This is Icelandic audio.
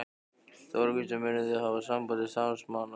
Þóra Kristín: Munu þið hafa samband við starfsmannaleigur?